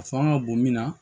A fanga bon min na